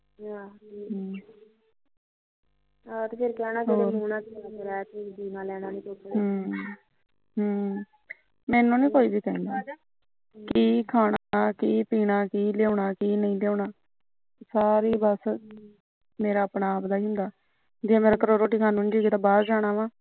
ਹਮ ਮੈਨੂੰ ਨੀ ਕੋਈ ਵੀ ਕਹਿੰਦਾ ਕੀ ਖਾਣਾ ਕੀ ਲਿਆਣਾ ਸਾਰਾ ਬਸ ਮੇਰਾ ਆਪਣੇ ਆਪ ਦਾ ਹੁੰਦਾ ਜੇ ਕਿਤੇ ਰੋਟੀ ਖਾਣੀ ਜੀਅ ਕੀਤਾ ਬਾਹਰ ਜਾਣਾ ਵਾ